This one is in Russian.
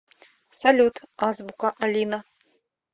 салют азбука алина